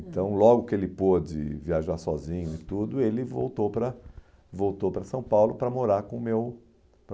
Hum. Então, logo que ele pôde viajar sozinho e tudo, ele voltou para voltou para São Paulo para morar com o meu